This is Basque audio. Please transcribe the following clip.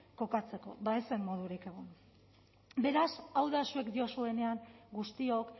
kokatzeko bada ez zen modurik egon beraz hau da zuek diozuenean guztiok